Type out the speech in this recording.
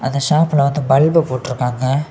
அந்த ஹாப்லெ வந்து பல்பு போட்டிக்காங்க.